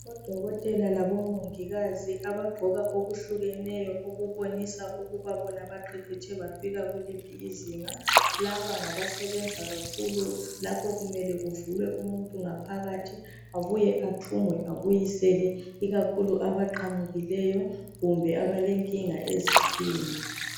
Odokotela labomongikazi abagqoka okuhlukeneyo okubonisa ukuthi bona baqeqetshe bafika kuliphi izinga , laba ngabasebenza kakhulu lapho kumele kuvulwe umuntu ngaphakathi abuye athungwe abuyiselwe ikakhulu abaqamukileyo kumbe abalenkinga eziswini